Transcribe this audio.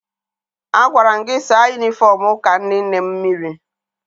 Agwara m gị saa yunifọm ụka ndị nne m mmiri!